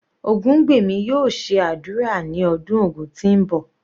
Ogungbemi yóò ṣe ádùrá ní ọdún Ògun tí ń bọ̀.